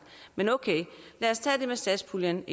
men okay lad os tage det med satspuljen